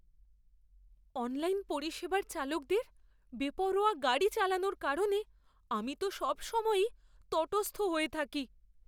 Online পরিষেবার চালকদের বেপরোয়া গাড়ি চালানোর কারণে আমি তো সবসময়ই তটস্থ হয়ে থাকি।